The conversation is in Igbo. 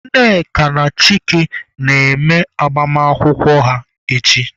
Nneka na Chike na-eme agbamakwụkwọ ha echi.